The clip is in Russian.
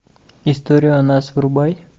историю о нас врубай